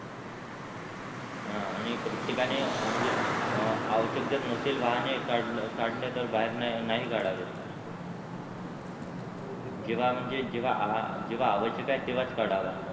हा आणि प्रत्यकाने म्हणजे आवश्यक जर नसेल वाहने काढणे तर बाहेर नाही काढावे जेव्हा म्हणजे जेव्हा आवश्यक आहे तेव्हाच काढावा.